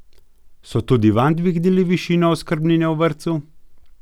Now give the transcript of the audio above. So tudi vam dvignili višino oskrbnine v vrtcu?